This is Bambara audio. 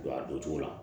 A don cogo la